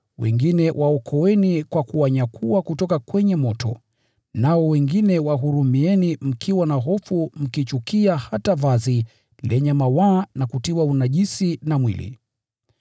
wengine waokoeni kwa kuwanyakua kutoka kwenye moto; nao wengine wahurumieni mkiwa na hofu, mkichukia hata vazi lenye mawaa na kutiwa unajisi na mwili.